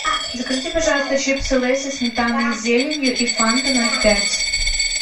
закажите пожалуйста чипсы лейс со сметаной и зеленью и фанту ноль пять